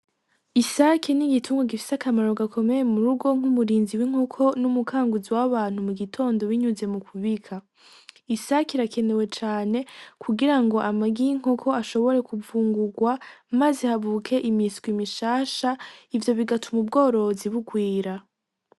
Isaki n'igitungu gifise akamarro gakomeye mu rugo nk'umurinzi w'inkoko n'umukanguzi w'abantu mu gitondo binyuze mu kubika isaki irakenewe cane kugira ngo amagiye inkoko ashobore kuvungurwa, maze habuke imiswa imishasha ivyo bigatuma ubworozi bugwira.